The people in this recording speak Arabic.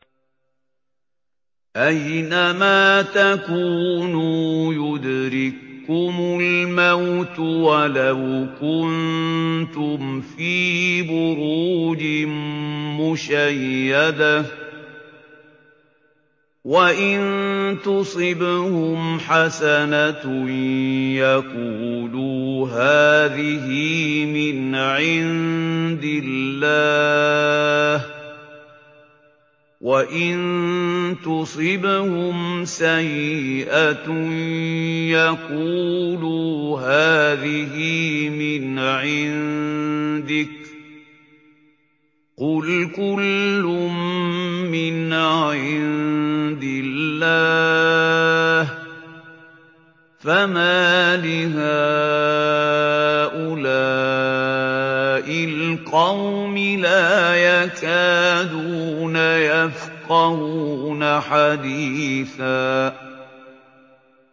أَيْنَمَا تَكُونُوا يُدْرِككُّمُ الْمَوْتُ وَلَوْ كُنتُمْ فِي بُرُوجٍ مُّشَيَّدَةٍ ۗ وَإِن تُصِبْهُمْ حَسَنَةٌ يَقُولُوا هَٰذِهِ مِنْ عِندِ اللَّهِ ۖ وَإِن تُصِبْهُمْ سَيِّئَةٌ يَقُولُوا هَٰذِهِ مِنْ عِندِكَ ۚ قُلْ كُلٌّ مِّنْ عِندِ اللَّهِ ۖ فَمَالِ هَٰؤُلَاءِ الْقَوْمِ لَا يَكَادُونَ يَفْقَهُونَ حَدِيثًا